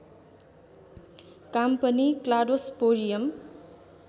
काम पनि क्लाडोस्पोरियम